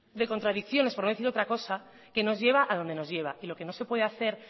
de contradicciones por no decir otra cosa que nos lleva a dónde nos lleva y lo que no se puede hacer